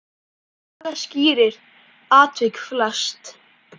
Saga skýrir atvik flest.